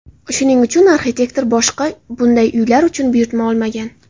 Shuning uchun arxitektor boshqa bunday uylar uchun buyurtma olmagan.